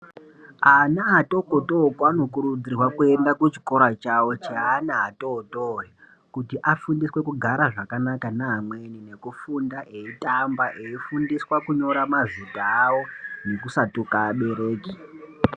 Ana atokotoko anokurudzirwa kuenda kuchikoro chavo cheana atotori kuti afundiswe kugara zvakanaka neamweni nekufunda eyitamba eyifundiswa kunyora mazita awo nekusatuka abereki.